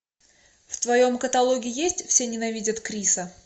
в твоем каталоге есть все ненавидят криса